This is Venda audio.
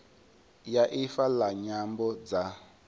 ya ifa la nyambo dza